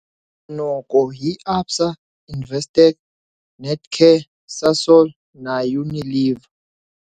Noko hi ABSA, Investec, Netcare, Sasol na Unilever.